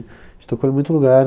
A gente tocou em muito lugar.